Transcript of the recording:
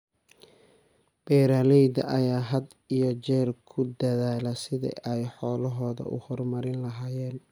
Beeralayda ayaa had iyo jeer ku dadaala sidii ay xoolahooda u horumarin lahaayeen.